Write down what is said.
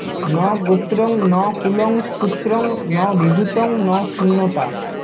ন গোত্রং ন কুলং সূত্রং ন বিভুত্বং ন শূন্যতা